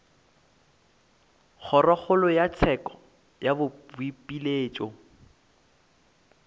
kgorokgolo ya tsheko ya boipiletšo